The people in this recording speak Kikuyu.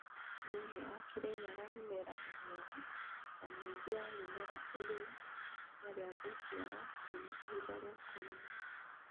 Thi͂ini͂ wa Kirinyaga mi͂mera ni mi͂ega na mi͂ingi͂ ya mi͂mera i͂ri͂ ikinya ri͂a ku͂ciara nginya ihinda ri͂a ku͂gimara.